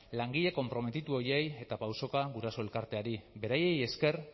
langile konprometitu horiei eta pausoka guraso elkarteari beraiei esker